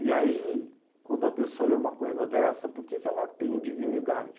E aí, quando a pessoa lê uma coisa dessa, por que que ela tem dignidade?